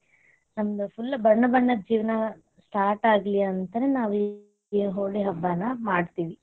ನಮ್ full ಬಣ್ಣಬಣ್ಣದ್ ಜೀವನ start ಆಗ್ಲಿ ಅಂತನ ನಾವೀ ಹೋಳಿ ಹಬ್ಬಾನ ಮಾಡತೇವಿ.